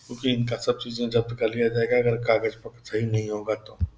क्योंकि इनका सब चीजें जब्त कर लिया जाएगा अगर कागज पत्तर सही नहीं होगा तो।